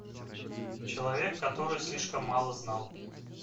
человек который слишком мало знал